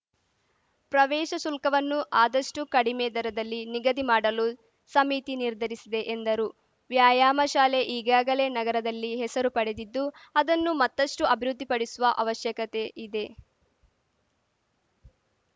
ಪ್ರವೇಶ ಶುಲ್ಕವನ್ನು ಆದಷ್ಟುಕಡಿಮೆ ದರದಲ್ಲಿ ನಿಗದಿ ಮಾಡಲು ಸಮಿತಿ ನಿರ್ಧರಿಸಿದೆ ಎಂದರು ವ್ಯಾಯಾಮ ಶಾಲೆ ಈಗಾಗಲೇ ನಗರದಲ್ಲಿ ಹೆಸರು ಪಡೆದಿದ್ದು ಅದನ್ನು ಮತ್ತಷ್ಟುಅಭಿವೃದ್ಧಿಪಡಿಸುವ ಅವಶ್ಯಕತೆ ಇದೆ